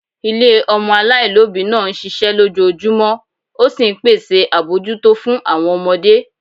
Ilé ọmọ aláìlóbìí náà ń ṣiṣẹ́ lójoojúmọ́, ó sì ń pèsè àbójútó fún àwọn ọmọdé